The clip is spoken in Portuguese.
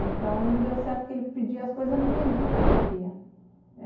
Então não deu certo, porque ele pedia as coisas e eu não entendia o que ele queria.